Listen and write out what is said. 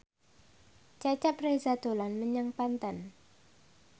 Cecep Reza dolan menyang Banten